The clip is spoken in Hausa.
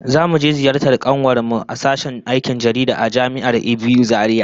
Zamu je ziyartar kanuwar mu a sashen aikin jaridah a Jami'ar ABU Zaria